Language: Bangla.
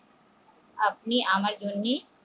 আপনি আমার জন্যে